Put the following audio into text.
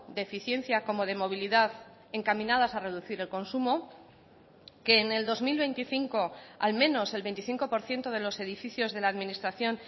de eficiencia como de movilidad encaminadas a reducir el consumo que en el dos mil veinticinco al menos el veinticinco por ciento de los edificios de la administración